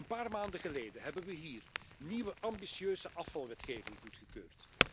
Een paar maanden geleden hebben we hier nieuwe ambitieuze afvalwetgeving goedgekeurd.